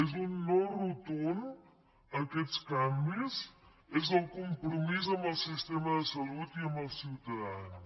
és un no rotund a aquests canvis és el compromís amb el sistema de salut i amb els ciutadans